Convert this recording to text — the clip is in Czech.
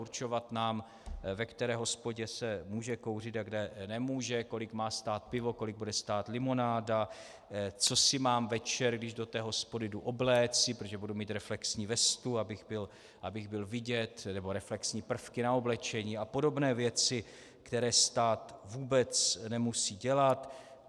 Určovat nám, ve které hospodě se může kouřit a kde nemůže, kolik má stát pivo, kolik bude stát limonáda, co si mám večer, když do té hospody jdu, obléci, protože budu mít reflexní vestu, abych byl vidět, nebo reflexní prvky na oblečení a podobné věci, které stát vůbec nemusí dělat.